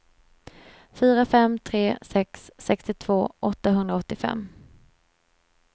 fyra fem tre sex sextiotvå åttahundraåttiofem